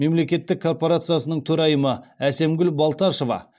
мемлекеттік корпорациясының төрайымы әсемгүл балташева